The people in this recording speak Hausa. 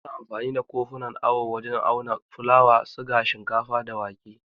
Ana amfani da kofunan awo wajen auna fulawa, siga, shinkafa, da wake.